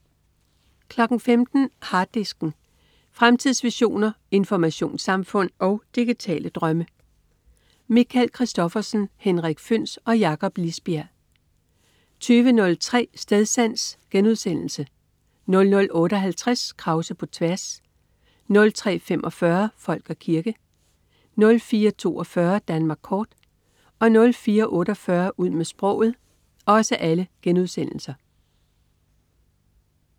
15.00 Harddisken. Fremtidsvisioner, informationssamfund og digitale drømme. Michael Christophersen, Henrik Føhns og Jakob Lisbjerg 20.03 Stedsans* 00.58 Krause på tværs* 03.45 Folk og kirke* 04.42 Danmark kort* 04.48 Ud med sproget*